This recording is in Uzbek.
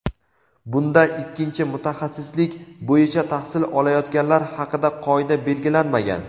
Bunda ikkinchi mutaxassislik bo‘yicha tahsil olayotganlar haqida qoida belgilanmagan.